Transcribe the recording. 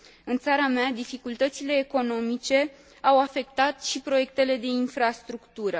În țara mea, dificultățile economice au afectat și proiectele de infrastructură.